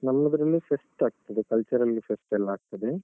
ನಮ್ಮ್ದ್ರಲ್ಲಿ fest ಆಗ್ತದೆ cultural fest ಎಲ್ಲ ಆಗ್ತದೆ.